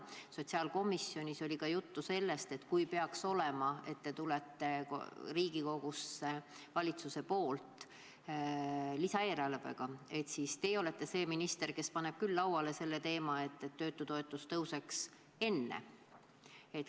Sotsiaalkomisjonis oli ka juttu sellest, et kui valitsus peaks Riigikogusse tulema lisaeelarvega, siis teie olete see minister, kes tõstab lauale teema, et töötutoetus tõuseks enne.